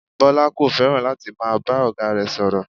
Bọ́lá kò fẹ́ràn láti máa bá ọ̀gá rẹ̀ sọ̀rọ̀